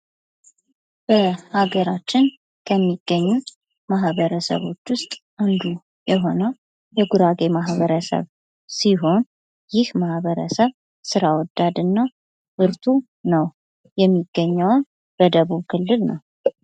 በሀገራችን ከሚገኙት ማኅበረሰቦች ውስጥ አንዱ የሆነው የጉራጌ ማኅበረሰብ ሲሆን ይህ ማኅበረሰብ ስራ ወዳድ እና ብርቱ ነው ። የሚገኘውም በደቡብ ክልል ነው ።